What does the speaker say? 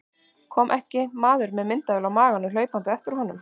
Kom ekki maður með myndavél á maganum hlaupandi á eftir honum.